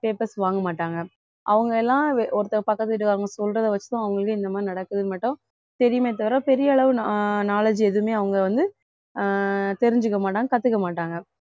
papers வாங்க மாட்டாங்க அவங்க எல்லாம் ஒருத்தவங்க பக்கத்து வீட்டுக்காரங்க சொல்றதை வச்சுதான் அவங்களுக்கே இந்த மாதிரி நடக்கவே மாட்டோம் தெரியுமே தவிர பெரிய அளவு kno~ knowledge எதுவுமே அவங்க வந்து அஹ் தெரிஞ்சுக்க மாட்டாங்க கத்துக்க மாட்டாங்க